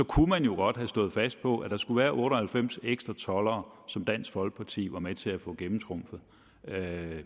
kunne man jo godt have stået fast på at der skulle være otte og halvfems ekstra toldere som dansk folkeparti var med til at få gennemtrumfet